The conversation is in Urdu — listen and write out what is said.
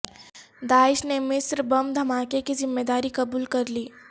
داعش نے مصر بم دھماکے کی ذمہ داری قبول کر لی